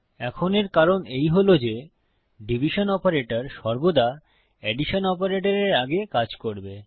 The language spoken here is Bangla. এখন এর কারণ এই হল যে ডিভিশন বিভাগ অপারেটর সর্বদা এডিশন অপারেটরের আগে কাজ করবে